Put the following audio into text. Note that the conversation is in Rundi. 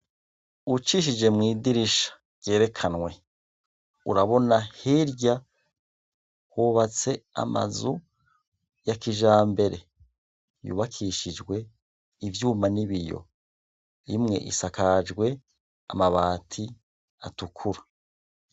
Ucishije mw'idirisha ryerekanywe urabona hirya hubatse amazu yakijambere yubakishijwe ivyuma n'ibiyo; imwe isakajwe amabati atukura.